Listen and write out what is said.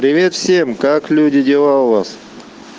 привет всем как люди дела у вас